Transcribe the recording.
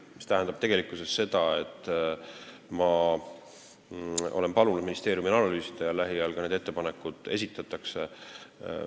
See tähendab, et ma olen palunud ministeeriumil seda analüüsida ja lähiajal need ettepanekud esitatakse.